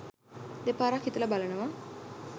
දෙපාරක් හිතලා බලනවා.